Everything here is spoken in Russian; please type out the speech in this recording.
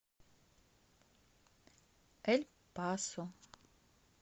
эль пасо